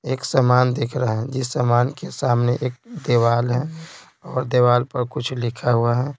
एक सामान दिख रहा है जिस सामान के सामने एक देवाल है और देवाल पर कुछ लिखा हुआ है।